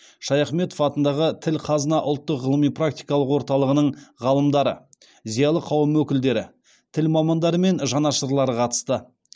шаяхметов атындағы тіл қазына ұлттық ғылыми практикалық орталығының ғалымдары зиялы қауым өкілдері тіл мамандары мен жанашырлары қатысты